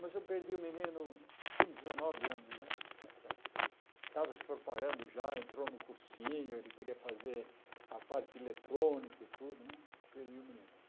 Mas eu perdi o menino com dezenove anos né está certo, estava se preparando já, entrou no cursinho, ele queria fazer a parte eletrônica e tudo né, perdi o menino.